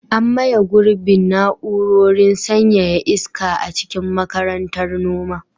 An maye gurbin na'urorin sanyaya iska a cikin Makarantar Noma.